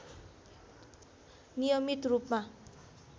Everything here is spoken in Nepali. नियमित रूपमा